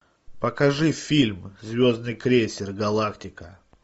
покажи фильм звездный крейсер галактика